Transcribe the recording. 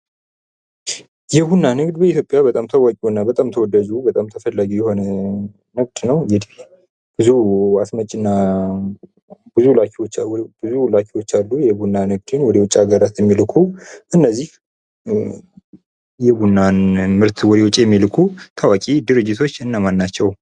የቡና ንግድ በኢትዮጵያ በጣም ታዋቂውና በጣም ተወዳጁ በጣም ተፈላጊው የሆነ ምርት ነው። ብዙ አስመጭ እና ብዙ ላኪዎች አሉ የቡና ምርትን ወደ ውጭ ሃገራት የሚልኩ እነዚህ የቡና ምርትን ወደ ውጭ የሚልኩ ድርጅቶች እነማን ናቸው?